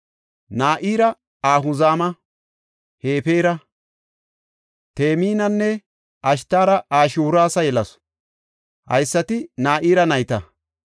Na7ira Ahuzama, Hefeera, Teminanne Ashitaara Ashihuuras yelasu; haysati Na7iri nayta.